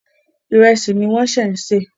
Ìrẹsì ni wọ́n ń ṣẹ̀ ń sè.